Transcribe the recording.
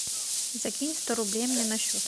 закинь сто рублей мне на счет